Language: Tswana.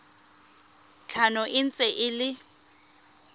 tlhano e ntse e le